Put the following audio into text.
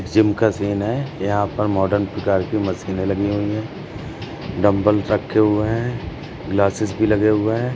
Gym का scene है। यहाँ पर मॉडर्न प्रकार की मशीनें लगी हुई हैं। डंबल्स रखे हुए हैं। ग्लासेस भी लगे हुए हैं।